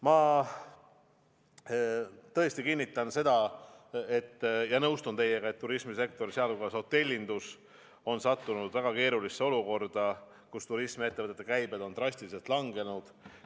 Ma tõesti kinnitan seda ja nõustun teiega, et turismisektor, sh hotellindus, on sattunud väga keerulisse olukorda, kus turismiettevõtete käibed on drastiliselt langenud.